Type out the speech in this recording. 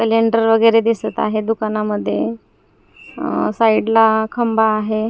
Cylinder वगैरे दिसत आहे दुकानामध्ये अह साईडला खंबा आहे.